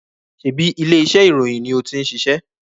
Sebi ilé iṣẹ́ ìròyìn ni ó tin ṣiṣẹ́?